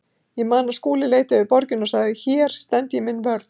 Ég man að Skúli leit yfir borgina og sagði: Hér stend ég minn vörð.